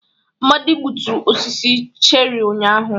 Amadi gbuturu osisi cherrị ụnyahụ.